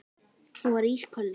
Hún var ísköld.